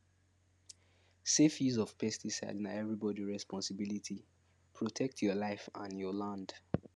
safe use of pesticide na everybody responsibilityprotect your life and your land